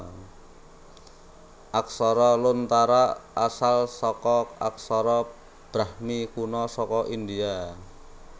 Aksara Lontara asal saka aksara Brahmi kuna saka India